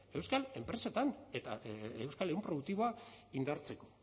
euskal enpresetan eta euskal ehun produktiboa indartzeko